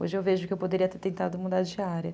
Hoje eu vejo que eu poderia ter tentado mudar de área.